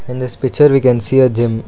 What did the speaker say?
in this picture we can see a gym.